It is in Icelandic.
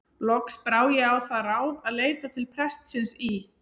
Loks brá ég á það ráð að leita til prestsins í